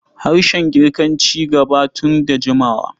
Harshen Girkaya ci gaba tun da jimawa.